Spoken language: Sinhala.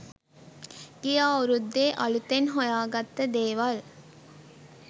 ගිය අවුරුද්දේ අලුතෙන් හොයාගත්ත දේවල්.